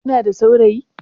Kina da saurayi?